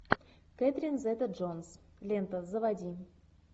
кэтрин зета джонс лента заводи